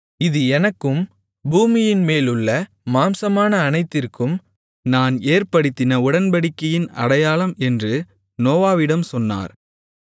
இது எனக்கும் பூமியின்மேலுள்ள மாம்சமான அனைத்திற்கும் நான் ஏற்படுத்தின உடன்படிக்கையின் அடையாளம் என்று நோவாவிடம் சொன்னார்